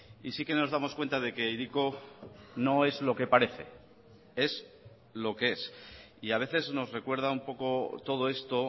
y sí que nos damos cuenta de que hiriko no es lo que parece es lo que es y a veces nos recuerda un poco todo esto